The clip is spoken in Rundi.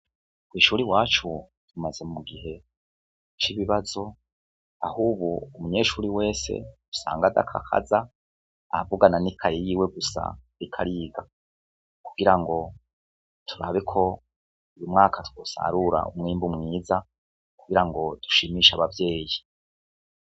Kw'ishure iwacu tumaze mu gihe c'ibibazo aho ubu umunyeshuri wese usanga adakakaza avugana n'ikaye yiwe gusa ariko ariga, kugirango turabe ko uyu mwaka twosarura umwimbu mwiza, kugirango dushimishe abavyeyi.